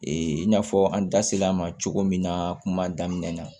in n'a fɔ an da sel'a ma cogo min na kuma daminɛ na